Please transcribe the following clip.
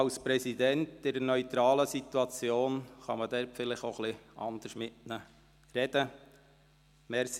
Als Präsident kann man in neutraler Position vielleicht auch etwas anders mit dem Regierungsrat sprechen.